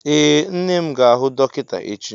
Ee, nne m ga-ahụ dọkịta echi.